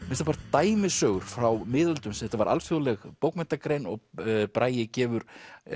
mestanpart dæmisögur frá miðöldum þetta var alþjóðleg bókmenntagrein og Bragi gefur